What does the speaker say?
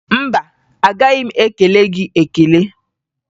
Mba, agaghị m ekele gị ekele.